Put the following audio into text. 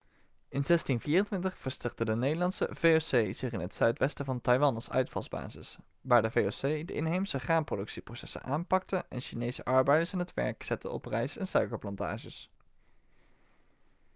in 1624 vestigde de nederlandse voc zich in het zuidwesten van taiwan als uitvalsbasis waar de voc de inheemse graanproductieprocessen aanpakte en chinese arbeiders aan het werk zette op rijst en suikerplantages